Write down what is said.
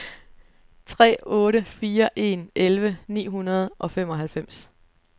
tre otte fire en elleve ni hundrede og femoghalvfems